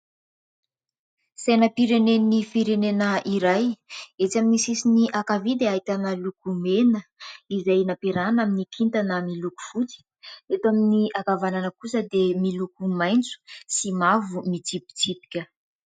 Sainam-pirenen'ny firenena iray. Etsy amin'ny sisiny ankavia dia ahitana loko mena izay nampiarana amin'ny kintana miloko fotsy. Eto amin'ny ankavanana kosa dia miloko maintso sy mavo mitsipitsipika.